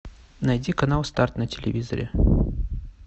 найти канал старт на телевизоре